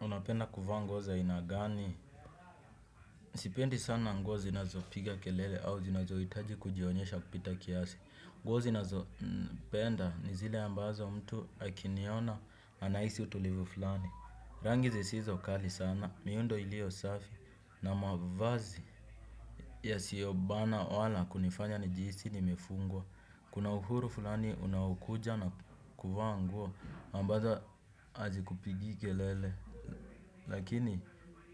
Unapenda kuvaa nguo za aina gani. Sipendi sana nguo zinazopiga kelele au zinazoitaji kujionyesha kupita kiasi. Nguo zinazopenda ni zile ambazo mtu akiniona anaisi utulivu fulani. Rangi zisizo kali sana miundo ilio safi na mavazi yasiobana wala kunifanya nijiisi nimefungwa. Kuna uhuru furani unaokuja na kuvaa nguo ambazo hazikupigii kelele. Lakini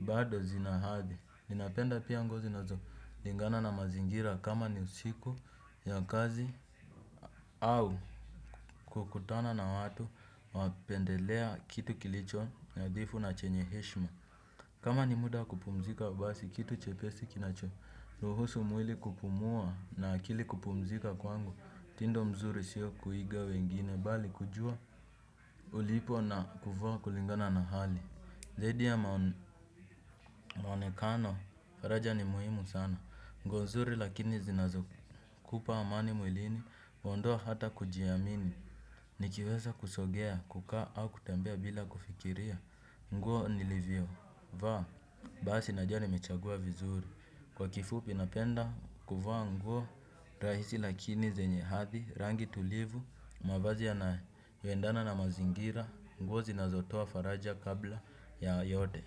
bado zina hadhi. Ninapenda pia nguo zinazolingana na mazingira kama ni usiku ya kazi au kukutana na watu wapendelea kitu kilicho nadhifu na chenye heshma. Kama ni muda wa kupumzika basi kitu chepesi kinachoruhusu mwili kupumua na akili kupumzika kwangu tindo mzuri sio kuiga wengine bali kujua ulipo na kuvaa kulingana na hali zaidi ya maonekano faraja ni muhimu sana. Nguo zuri lakini zinazokupa amani mwilini, mwondoo hata kujiamini, nikiweza kusogea, kukaa au kutembea bila kufikiria, nguo nilivyovaa, basi najua nimechagua vizuri, kwa kifupi napenda kuvaa nguo, rahisi lakini zenye hadhi, rangi tulivu, mavazi yanayoendana na mazingira, nguo zinazotoa faraja kabla ya yote.